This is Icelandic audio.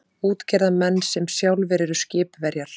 Útgerðarmenn sem sjálfir eru skipverjar.